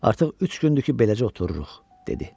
Artıq üç gündür ki, beləcə otururuq, dedi.